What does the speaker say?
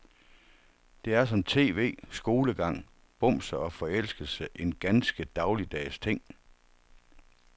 Det er som tv, skolegang, bumser og forelskelse en ganske dagligdags ting.